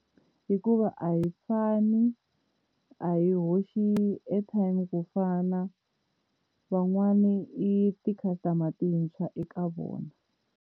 Hikuva a hi fani, a hi hoxi airtime ku fana van'wani i ti-customer tintshwa eka vona.